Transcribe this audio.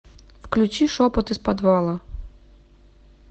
включи шепот из подвала